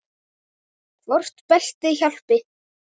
Hvort beltið hjálpi?